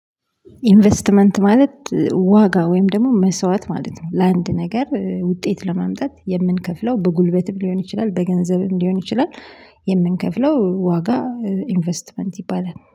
ኢንቨስትመንት ማለት ዋጋ ወይም ደግሞ መስዋዕት ማለት ነው ለአንድ ነገር ውጤት ለመምጣት የምንከፍለው በጉልበትም ሊሆን ይችላል በገንዘብም ሊሆን ይችላል። የምንከፍለው ዋጋ ኢንቨስትመንት ይባላል